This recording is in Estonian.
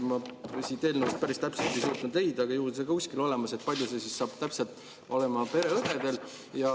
Ma siit eelnõust päris täpselt ei suutnud leida – ju see on siiski kuskil olemas –, kui suur see saab olema pereõdedel.